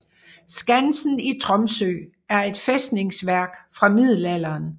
Skansen i Tromsø er et fæstningsværk fra middelalderen